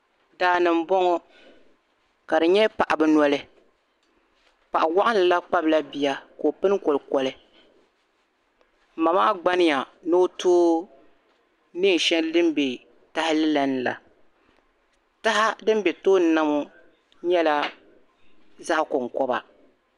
Daani n bɔŋɔ kadi nyɛ paɣibi nɔli, paɣiwaɣinlila kpabrila biya ka o pini kolikoli, ma maa gbani ya ni ɔtoo neen' shɛli din be tahili lala, taha din be tooni na ŋɔ nyɛla. zaɣi kom koba